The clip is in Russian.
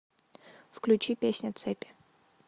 включи песня цепи